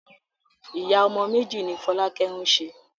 Ìyá ọmọ méjì ni Fọlákẹ́ ń ṣe.